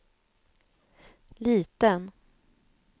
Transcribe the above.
liten